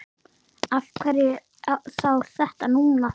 Af hverju þá þetta núna?